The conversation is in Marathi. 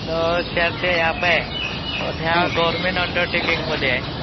ह्यत जे ऍप आहे ते गव्हन्मेंट अंडरटेकिंग मध्ये आहे